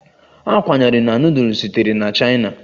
A kwenyere na nudul sitere na chaina